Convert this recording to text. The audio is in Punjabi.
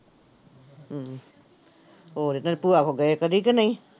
ਹਮ ਹੋਰ ਇੱਧਰ ਭੂਆ ਕੋਲ ਗਏ ਕਦੇ ਕਿ ਨਹੀਂ।